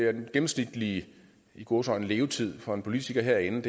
at den gennemsnitlige i gåseøjne levetid for en politiker herinde